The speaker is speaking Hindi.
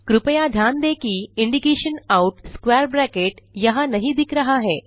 कृपया ध्यान दें कि इंडिकेशन आउट स्क्वैर ब्रैकेट यहाँ नहीं दिख रहा है